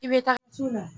I bɛ taa